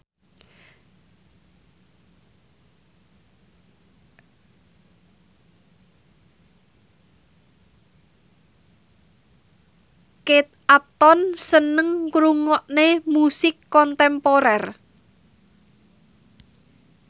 Kate Upton seneng ngrungokne musik kontemporer